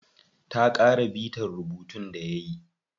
Ta ƙara bita rubuntun da yayi.